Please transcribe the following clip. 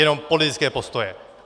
Jenom politické postoje.